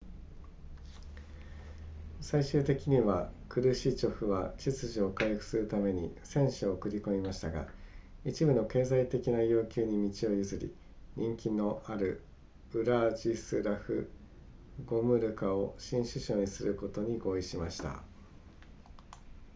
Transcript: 最終的にはクルシチョフは秩序を回復するために戦車を送り込みましたが一部の経済的な要求に道を譲り人気のあるウラジスラフゴムルカを新首相に任命することに合意しました